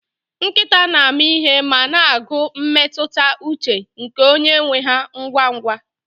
Nkịta na-ama ihe ma na-agụ mmetụta ụche nke onye nwe ha ngwa ngwa